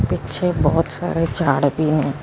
ਪਿੱਛੇ ਬਹੁਤ ਸਾਰੇ ਝਾੜ ਵੀ ਹ ।